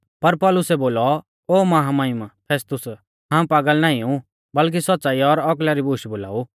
पर पौलुसै बोलौ ओ महामहिम फेस्तुस हाऊं पागल नाईं ऊ बल्कि सौच़्च़ाई और औकला री बूश बोलाऊ